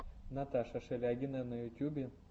наташа шелягина на ютьюбе